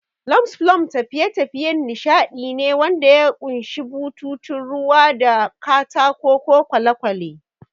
Log flumes tafiye-tafiyen nishadi ne wanda ya ƙunshi bututun ruwa da katako ko kwale-kwale.